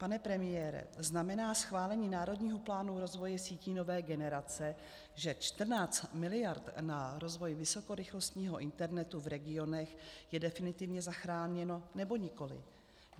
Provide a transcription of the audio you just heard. Pane premiére, znamená schválení Národního plánu rozvoje sítí nové generace, že 14 miliard na rozvoj vysokorychlostního internetu v regionech je definitivně zachráněno, nebo nikoli?